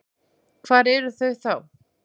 Hvar eru þau þá?